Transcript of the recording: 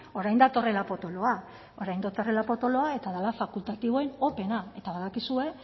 orain datorrela potoloa orain datorrela potoloa eta dela fakultatiboen operena eta badakizue